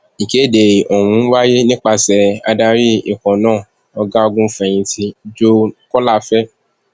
ìkéde ọhún wáyé nípasẹ adarí ikọ náà ọgágunfẹyìntì joe kọńláfẹ